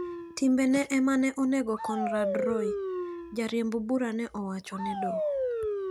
Timbene ema ne onego Conrad Roy," jariemb bura ne owacho ne doho."